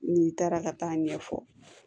N'i taara ka taa ɲɛfɔ